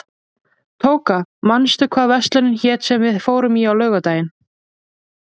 Tóka, manstu hvað verslunin hét sem við fórum í á laugardaginn?